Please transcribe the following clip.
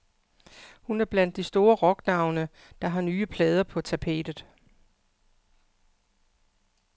Hun er blandt de store rocknavne, der har nye plader på tapetet.